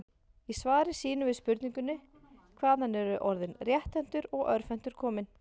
Í svari sínu við spurningunni Hvaðan eru orðin rétthentur og örvhentur komin?